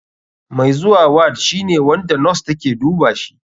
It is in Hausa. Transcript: Mai zuwa ward shine wanda nos take dubashi.